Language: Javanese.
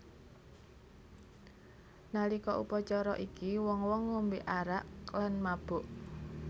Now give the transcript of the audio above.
Nalika upacara iki wong wong ngombe arak lan mabuk